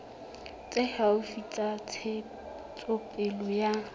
tse haufi tsa ntshetsopele ya